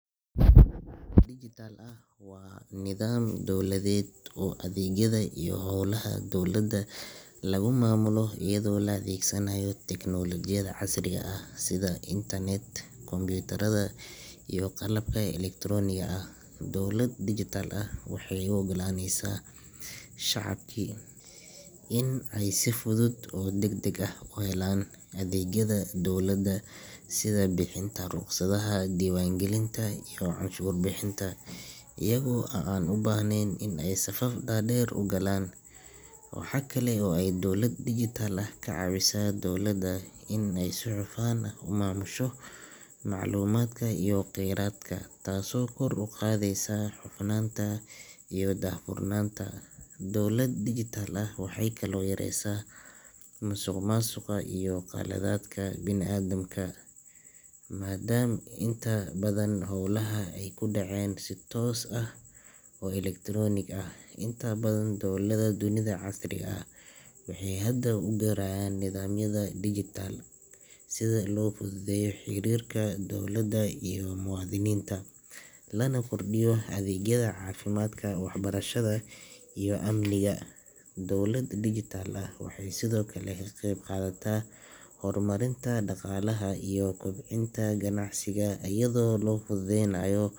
Dowlad digital ah waa nidaam dowladeed oo adeegyada iyo howlaha dowladda lagu maamulo iyadoo la adeegsanayo tiknoolajiyada casriga ah sida internet, kombuyuutarada, iyo qalabka elektarooniga ah. Dowlad digital ah waxay u oggolaaneysaa shacabka in ay si fudud oo degdeg ah u helaan adeegyada dowladda sida bixinta rukhsadaha, diiwaangelinta, iyo canshuur bixinta iyaga oo aan u baahnayn in ay safaf dhaadheer galaan. Waxa kale oo ay dowlad digital ah ka caawisaa dowladda in ay si hufan u maamusho macluumaadka iyo kheyraadka, taasoo kor u qaadaysa hufnaanta iyo daahfurnaanta. Dowlad digital ah waxay kaloo yareysaa musuqmaasuqa iyo khaladaadka bini'aadamka, maadaama inta badan howlaha ay ku dhacaan si toos ah oo elektaroonik ah. Inta badan dowladaha dunida casriga ah waxay hadda u guurayaan nidaamyada digital-ka ah si loo fududeeyo xiriirka dowladda iyo muwaadiniinta, lana kordhiyo adeegyada caafimaadka, waxbarashada, iyo amniga. Dowlad digital ah waxay sidoo kale ka qeyb qaadataa horumarinta dhaqaalaha iyo kobcinta ganacsiga iyadoo la fududeynayo.